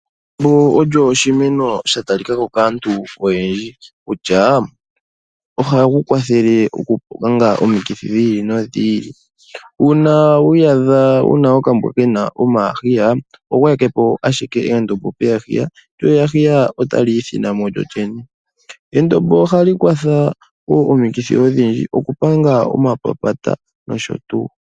Endombo olyo oshimeno sha talikako kaantu oyendji kutya ohali kwathele okupanga omikithi dhi ili nodhi ili. Uuna wi iyandha wuna okambwa kena omahiya oho gwayekepo owala endombo lyo eyahiya otali nekamo lyolyene. Endombo ohali vulu okupanga omapapata nosho tuu